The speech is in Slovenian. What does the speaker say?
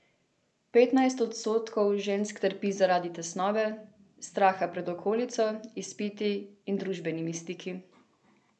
Petnajst odstotkov žensk trpi zaradi tesnobe, straha pred okolico, izpiti in družabnimi stiki.